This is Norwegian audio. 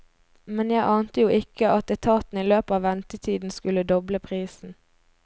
Men jeg ante jo ikke at etaten i løpet av ventetiden skulle doble prisen.